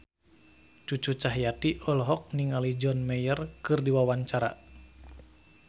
Cucu Cahyati olohok ningali John Mayer keur diwawancara